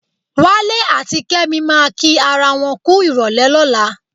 Wálé àti Kẹ́mi máa kí ara wọn kú ìrọ̀lẹ́ lọ́la.